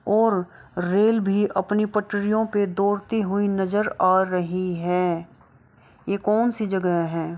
--और रेल भी अपनी पटरियों पे डोड़ती हुई नजर आ रही है ये कोनसी जगह हैं।